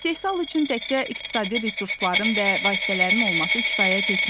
İstehsal üçün təkcə iqtisadi resursların və vasitələrin olması kifayət etmir.